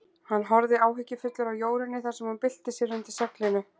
Hann horfði áhyggjufullur á Jórunni þar sem hún bylti sér undir seglinu.